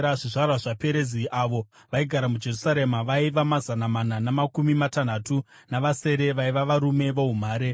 Zvizvarwa zvaPerezi avo vaigara muJerusarema vaiva mazana mana namakumi matanhatu navasere vaiva varume voumhare.